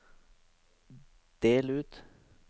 del ut